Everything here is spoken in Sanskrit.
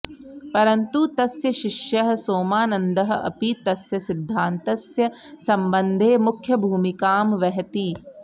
परन्तु तस्य शिष्यः सोमानन्दः अपि तस्य सिद्धान्तस्य सम्बन्धे मुख्यभूमिकां वहति